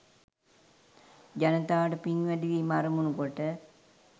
ජනතාවට පින් වැඩිවීම අරමුණු කොට